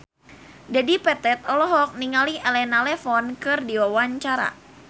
Dedi Petet olohok ningali Elena Levon keur diwawancara